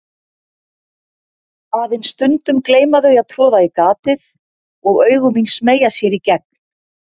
Aðeins stundum gleyma þau að troða í gatið og augu mín smeygja sér í gegn.